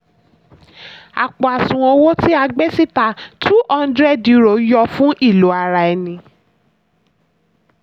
àpò àṣùwọ̀n owó tí a gbé síta two hundred euro yọ fún ìlò ara ẹni.